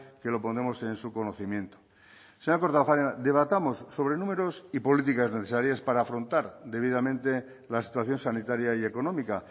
que lo pondremos en su conocimiento señora kortajarena debatamos sobre números y políticas necesarias para afrontar debidamente la situación sanitaria y económica